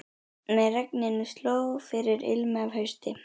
Með regninu sló fyrir ilmi af hausti.